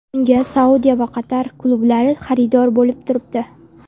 Unga Saudiya va Qatar klublari xaridor bo‘lib turibdi.